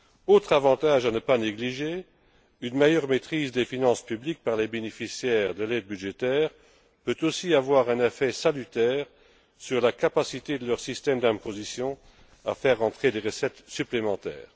Autre avantage à ne pas négliger une meilleure maîtrise des finances publiques par les bénéficiaires de l'aide budgétaire peut aussi avoir un effet salutaire sur la capacité de leur système d'imposition à faire entrer des recettes supplémentaires.